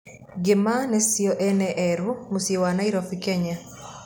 Ngĩma nĩcio ene erũa mũciĩ wa Nairobi, Kenya